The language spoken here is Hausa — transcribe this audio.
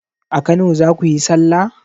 A kano zakuyi sallah?